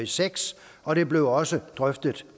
seks og det blev også drøftet